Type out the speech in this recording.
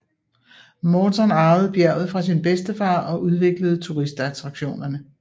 Morton arvede bjerget fra sin bedstefar og udviklede turistattraktionerne